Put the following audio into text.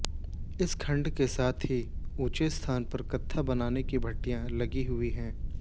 इस खड्ड के साथ ही ऊंचे स्थान पर कत्था बनाने की भट्ठियां लगी हुई हैं